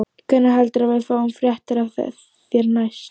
Fréttakona: Hvenær heldurðu að við fáum fréttir af þér næst?